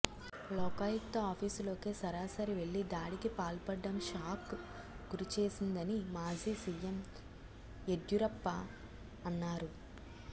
లోకాయుక్త ఆఫీసులోకే సరాసరి వెళ్లి దాడికి పాల్పడం షాక్కు గురిచేసిందని మాజీ సీఎం యెడ్యూరప్ప అన్నారు